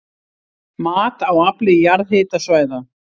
Mat á afli jarðhitasvæða